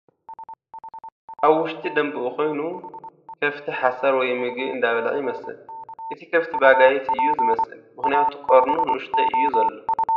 ኣብ ውሽጢ ደምቢኡ ኾይኑ ከፍቲ ሓሰር ወይ መግቢ እንዳበልዓ ይመስል ፡ እቲ ከፍቲ በጋይት እዩ ዝመስል ምኽንያቱ ቐርኑ ኑኡሽተይ እዩ ዘሎ ።